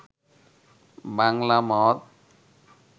বাংলা মদ